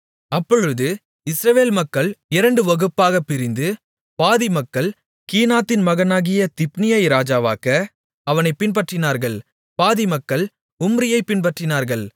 அப்பொழுது இஸ்ரவேல் மக்கள் இரண்டு வகுப்பாகப் பிரிந்து பாதி மக்கள் கீனாத்தின் மகனாகிய திப்னியை ராஜாவாக்க அவனைப் பின்பற்றினார்கள் பாதி மக்கள் உம்ரியைப் பின்பற்றினார்கள்